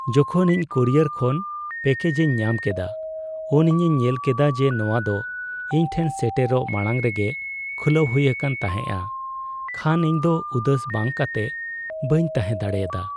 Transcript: ᱡᱚᱠᱷᱚᱱ ᱤᱧ ᱠᱩᱨᱤᱭᱟᱨ ᱠᱷᱚᱱ ᱯᱮᱠᱮᱡᱤᱧ ᱧᱟᱢ ᱠᱮᱫᱟ ᱩᱱ ᱤᱧᱤᱧ ᱧᱮᱞ ᱠᱮᱫᱟ ᱡᱮ ᱱᱚᱶᱟ ᱫᱚ ᱤᱧ ᱴᱷᱮᱱ ᱥᱮᱴᱮᱨᱚᱜ ᱢᱟᱲᱟᱝ ᱨᱮᱜᱮ ᱠᱷᱩᱞᱟᱹᱣ ᱦᱩᱭ ᱟᱠᱟᱱ ᱛᱟᱦᱮᱸᱜᱼᱟ ᱠᱷᱟᱱ ᱤᱧᱫᱚ ᱩᱫᱟᱹᱥ ᱵᱟᱝ ᱠᱟᱛᱮᱜ ᱵᱟᱹᱧ ᱛᱟᱦᱮᱸ ᱫᱟᱲᱮᱭᱟᱫᱟ ᱾